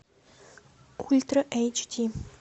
ультра эйч ди